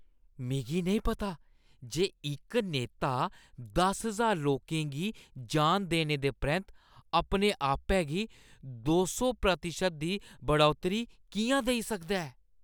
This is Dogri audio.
मिगी नेईं पता जे इक नेता दस ज्हार लोकें गी जान देने दे परैंत्त अपने आपै गी दो सौ प्रतिशत दी बढ़ौतरी किʼयां देई सकदा ऐ।